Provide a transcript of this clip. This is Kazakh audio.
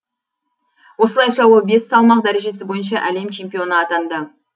осылайша ол бес салмақ дәрежесі бойынша әлем чемпионы атанды